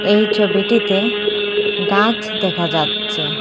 এই ছবিটিতে গাছ দেখা যাচ্ছে।